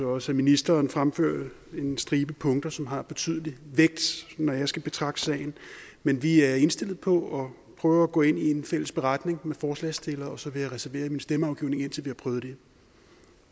også at ministeren fremførte en stribe punkter som har betydelig vægt når jeg skal betragte sagen men vi er indstillet på at prøve at gå med i en fælles beretning med forslagsstilleren og så vil jeg reservere min stemmeafgivning indtil vi har prøvet det